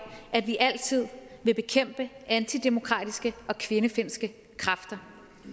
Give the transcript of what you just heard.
at vi altid vil bekæmpe antidemokratiske og kvindefjendske og kræfter